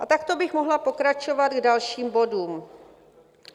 A takto bych mohla pokračovat k dalším bodům.